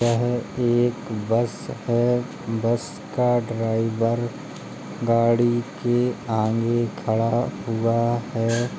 यह एक बस है बस का ड्राईवर गाड़ी के आगे खड़ा हुआ है।